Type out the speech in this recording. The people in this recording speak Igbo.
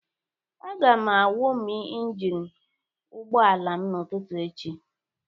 Aga m awọmụ injin ụgbọ ala m n'ụtụtụ echi